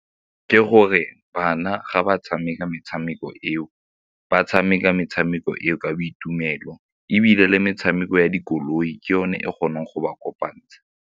Ke gore bana ga ba tshameka metshameko eo ba tshameka metshameko eo ka boitumelo ebile le metshameko ya dikoloi ke yone e kgonang go ba kopantsha.